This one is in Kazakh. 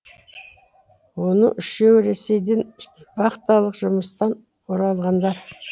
оның үшеуі ресейден вахталық жұмыстан оралғандар